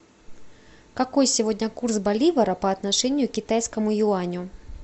какой сегодня курс боливара по отношению к китайскому юаню